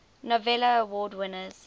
novello award winners